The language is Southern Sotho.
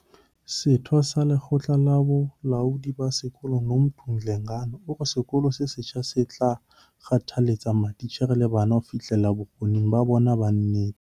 Setho sa lekgotla la bolaodi ba sekolo, Nomuntu Dlengane, o re sekolo se setjha se tla kgothaletsa matitjhere le bana ho fihlella bokgoni ba bona ba nnete.